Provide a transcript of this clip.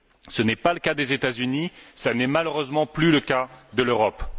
Ce n'est pas le cas des États Unis, ce n'est malheureusement plus le cas de l'Europe.